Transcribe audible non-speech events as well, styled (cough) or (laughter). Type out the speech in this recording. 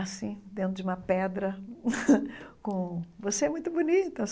assim, dentro de uma pedra, (laughs) com... Você é muito bonita!